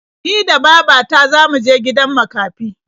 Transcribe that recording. Ni da baba ta za mu je gidan makafi.